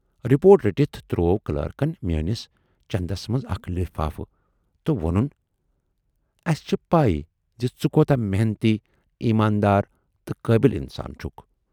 report رٔٹِتھ تروو کلٲرکَن میٲنِس چٮ۪ندس منز اکھ لِفافہٕ تہٕ وونُن، اَسہِ چھِ پےَ زِ ژٕ کوٗتاہ محنتی، ایٖماندار تہٕ قٲبِل اِنسان چھُکھ